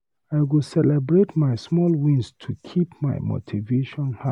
I go celebrate my small wins to keep my motivation high.